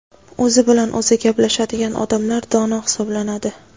O‘zi bilan o‘zi gaplashadigan odamlar dono hisoblanadi.